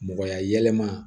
Mɔgɔya yɛlɛma